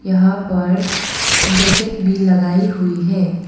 यहां पर जैकेट भी लगाई हुई है।